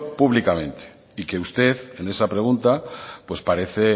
públicamente y que usted en esa pregunta pues parece